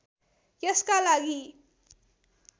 यसका लागि